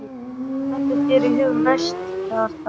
Hvað dettur þér í hug næst, Kjartan?